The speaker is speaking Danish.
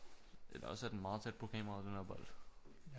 Eller også er den meget tæt på kameraet denne her bold